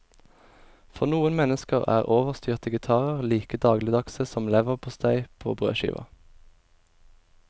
For noen mennesker er overstyrte gitarer like dagligdagse som leverpostei på brødskiva.